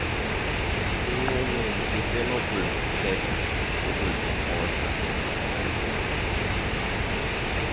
inqununu isenokukhetha ukuziposela